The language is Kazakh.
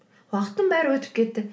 уақыттың бәрі өтіп кетті